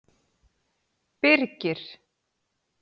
Birgir